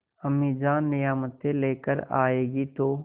अम्मीजान नियामतें लेकर आएँगी तो